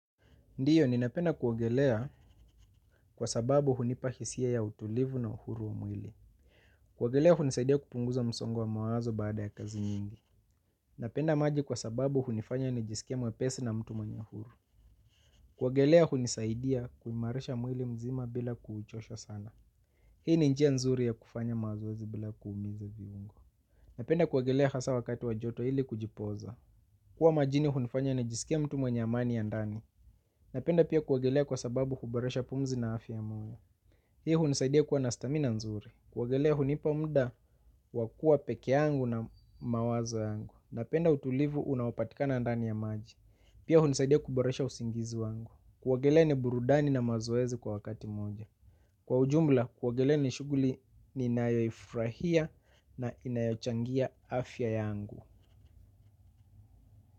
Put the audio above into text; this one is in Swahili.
Ndiyo, ninapenda kuwagelea kwa sababu hunipa hisia ya utulivu na uhuru wa mwili. Kuogelea hunisaidia kutoa msongo wa mawazo baada ya kazi nyingi. Napenda maji kwa sababu hunifanya nijisikia mwepesi na mtu mwanyahuru. Kuwagelea hunisaidia kuimarisha mwili mzima bila kuuchosha sana. Hii ni njia nzuri ya kufanya mawazoazi bila kuumiza viungu. Napenda kuoagelea hasa wakati wajoto ili kujipoza. Kuwa majini hunifanya nijisikia mtu mwanyamani ya ndani. Napenda pia kuwagelea kwa sababu kuboresha pumzi na afya moja. Hii hunisaidia kwa nastamina nzuri. Kuwagelea hunipa mda wakua peke yangu na mawaza yangu. Napenda utulivu unapatika na andani ya maji. Pia hunisaidia kuboresha usingizi wangi. Kuogelea ni burudani na mazoezi kwa wakati moja. Kwa ujumla, kuoagelea ni shuguli ni inayofrahia na inayochangia afya yangu.